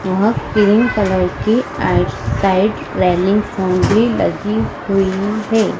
और pink colour की outside railing फोन भी लगी हुई है।